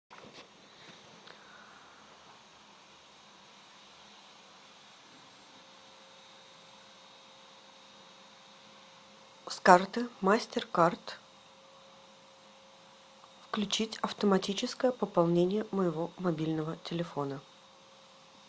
с карты мастер кард включить автоматическое пополнение моего мобильного телефона